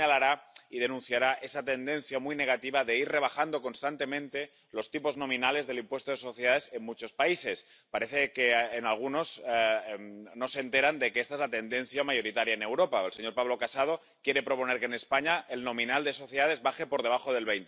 también señalará y denunciará esa tendencia, muy negativa, de ir rebajando constantemente los tipos nominales del impuesto de sociedades en muchos países. Parece que algunos no se enteran de los efectos de esta tendencia mayoritaria en Europa —el señor Pablo Casado quiere proponer que en España el tipo nominal del impuesto de sociedades baje por debajo del